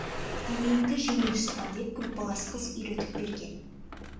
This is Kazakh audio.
денеңді жеңіл ұста деп группалас қыз үйретіп берген